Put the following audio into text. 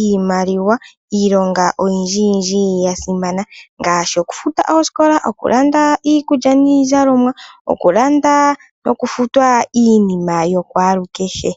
iimaliwa iilonga oyindji yindji ya simana. Ngaashi okufuta oosikola, okulanda iikulya niizalomwa, noshowo okulanda nokufuta iinima yokwalu kehe.